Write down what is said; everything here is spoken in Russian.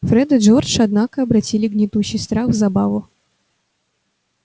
фред и джордж однако обратили гнетущий страх в забаву